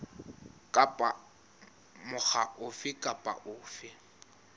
kapa mokga ofe kapa ofe